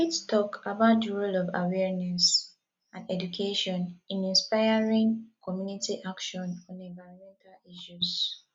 you fit talk about di role of awareness and education in inspiring community action on environmental issues